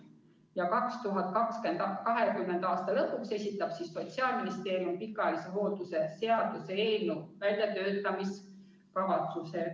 Ja 2020. aasta lõpuks esitab Sotsiaalministeerium pikaajalise hoolduse seaduse eelnõu väljatöötamiskavatsuse.